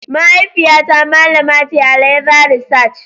Mahaifiyata malama ce a leather research.